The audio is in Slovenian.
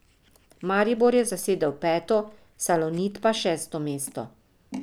Maribor je zasedel peto, Salonit pa šesto mesto.